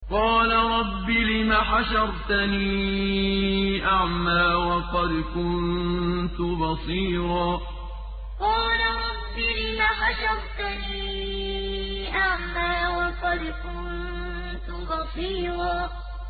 قَالَ رَبِّ لِمَ حَشَرْتَنِي أَعْمَىٰ وَقَدْ كُنتُ بَصِيرًا قَالَ رَبِّ لِمَ حَشَرْتَنِي أَعْمَىٰ وَقَدْ كُنتُ بَصِيرًا